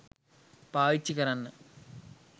පාවිච්චි කරන්න